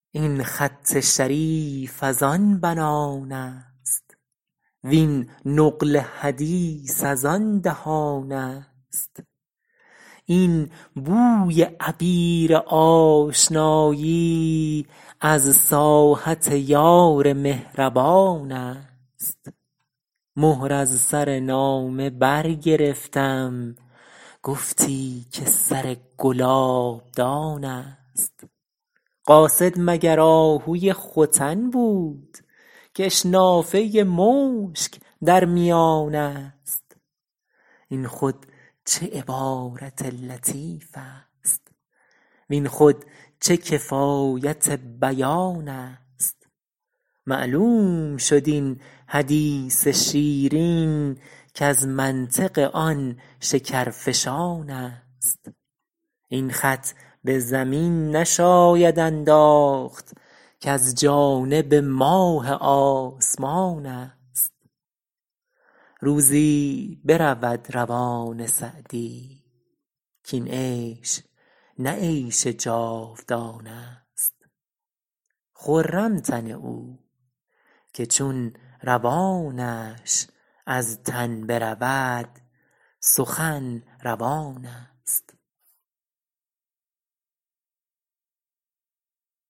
این خط شریف از آن بنان است وین نقل حدیث از آن دهان است این بوی عبیر آشنایی از ساحت یار مهربان است مهر از سر نامه برگرفتم گفتی که سر گلابدان است قاصد مگر آهوی ختن بود کش نافه مشک در میان است این خود چه عبارت لطیف است وین خود چه کفایت بیان است معلوم شد این حدیث شیرین کز منطق آن شکرفشان است این خط به زمین نشاید انداخت کز جانب ماه آسمان است روزی برود روان سعدی کاین عیش نه عیش جاودان است خرم تن او که چون روانش از تن برود سخن روان است